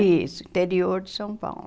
Isso, interior de São Paulo.